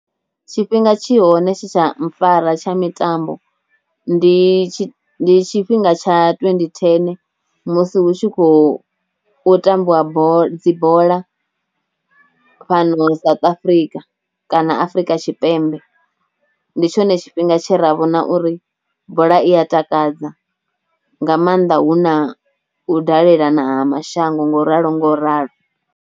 Tshifhinga tshi hone tshe tsha mpfhara tsha mitambo, ndi tshi ndi tshifhinga tsha twendi thene musi hu tshi khou tambiwa bola dzi bola fhano South Africa kana Afrika Tshipembe, ndi tshone tshifhinga tshe ra vhona uri bola i a takadza nga maanḓa hu na u dalela na mashango ngo ralo ngo ralo.